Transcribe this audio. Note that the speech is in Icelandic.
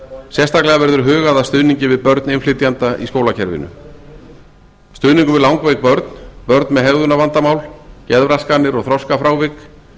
sérstaklega verður hugað að stuðningi við börn innflytjenda í skólakerfinu stuðningur við langveik börn börn með hegðunarvandamál geðraskanir og þroskafrávik